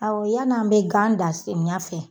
Aw yan'an bɛ gan dan samiya fɛ.